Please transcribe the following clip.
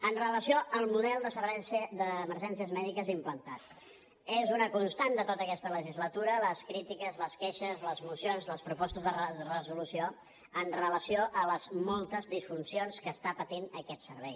amb relació al model de servei d’emergències mèdiques implantat és una constant de tota aquesta legislatura les crítiques les queixes les mocions les propostes de resolució amb relació a les moltes disfuncions que està patint aquest servei